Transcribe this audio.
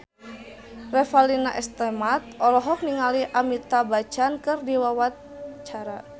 Revalina S. Temat olohok ningali Amitabh Bachchan keur diwawancara